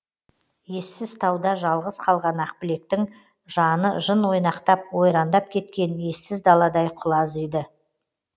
ессіз тауда жалғыз қалған ақбілектің жаны жын ойнақтап ойрандап кеткен ессіз даладай құлазиды